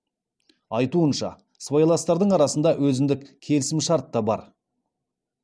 айтуынша сыбайластардың арасында өзіндік келісімшарт та бар